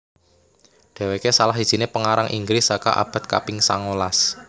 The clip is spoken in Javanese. Dhéwéké salah sijiné pengarang Inggris saka abad kaping songolas